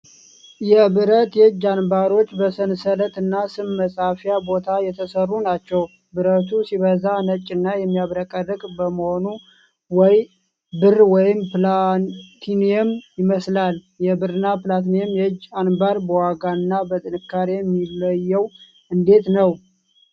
የብረት የእጅ አንባሮች በሰንሰለት እና ስም መፃፊያ ቦታ የተሰሩ ናቸው። ብረቱ ሲበዛ ነጭና የሚያብረቀርቅ በመሆኑ ወይ ብር ወይም ፕላቲነም ይመስላል። የብርና ፕላቲነም የእጅ አንባር በዋጋና በጥንካሬ የሚለዩት እንዴት ነው?